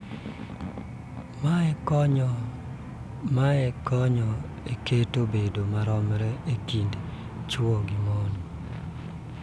Mae konyo e keto bedo maromre e kind chwo gi mon.